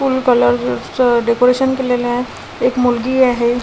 फुल colour च decoration केलेलं आहे एक मुलगी आहे.